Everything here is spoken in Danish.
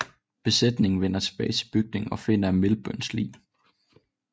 Besætningen vender tilbage til bygningen og finder Milburns lig